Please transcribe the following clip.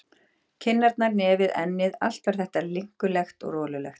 Kinnarnar, nefið, ennið, allt var þetta linkulegt og rolulegt.